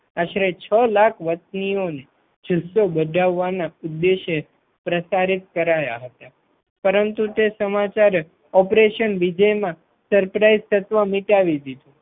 આશરે છ લાખ વતનીને જુસ્સો વધરવા ઉપદેશે પ્રસારિત કરાયા હશે પરંતુ તે સમાચાર Operation વિજયમાં Surprise તત્વ મિટાવી દીધું